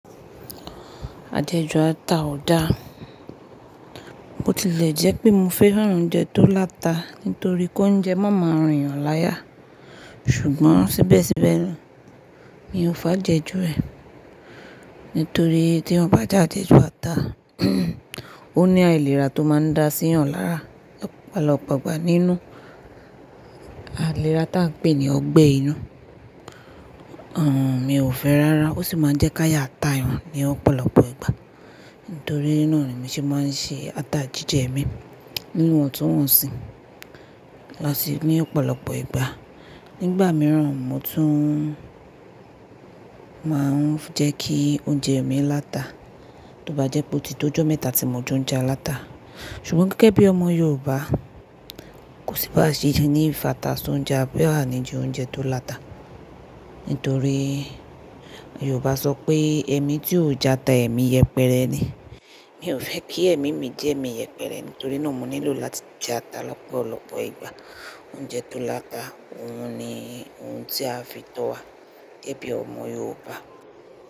Àjẹjù ata ò dá. Bo tilè jẹ́ pé mo fẹ́ran oúnjẹ tó láta nítorí kó ń jẹ mọ́mọ rin èèyàn láyà, ṣùgbọ́n síbẹ̀síbẹ̀ mi ò fàájẹjú rẹ̀. Nítorí tí eeyan bá jẹ àjẹjù ata, ó ní àìlera tó máa ń dá sí èèyàn lára lọ́pọ̀lọpọ̀ ìgbà nínú àìlera ta pé ni ọgbẹ́ inú. Mi ò fẹ́ rárá ó sì máa ń jẹ́ kí ayá ta èèyàn ní ọ̀pọ̀lọpọ̀ ìgbà. Nítorí náà ni mo ṣe máa ń ṣe ata jíjẹ mi níwọ̀n tó wọ̀nsì. Lọ́ sì ní ọ̀pọ̀lọpọ̀ ìgbà nígbà mìíràn mo tún máa ń jẹ́ kí oúnjẹ mi láta. Tí ó bá jẹ́ pé ó ti tó ọjọ́ mẹ́ta tí mo jẹ oúnjẹ aláta. Ṣùgbọ́n gẹ́gẹ́ bí ọmọ Yorùbá kò sí bá ṣe jẹ ní ìfatà sí oúnjẹ abi ani je oúnjẹ tó láta. Nítorí Yorùbá sọ pé "ẹni tí ó já ata, èmi yẹpẹrẹ ni." Mi ò fẹ́ kí ẹ̀mí mi jẹ́ èmi yẹpẹrẹ nítorí náà mo nílò láti jẹ ata lọ́pọ̀lọpọ̀ ìgbà. Oúnjẹ tó láta òun ni oun tí a fi tó wa gẹ́ bí ọmọ Yorùbá.